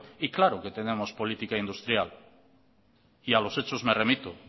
y claro que tenemos política industrial y a los hechos me remito